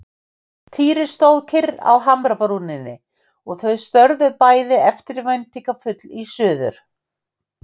Týri stóð kyrr á hamrabrúninni og þau störðu bæði eftirvæntingarfull í suður.